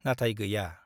नाथाय गैया ।